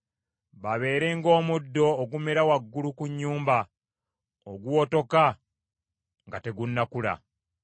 Babeere ng’omuddo ogumera waggulu ku nnyumba , oguwotoka nga tegunnakula.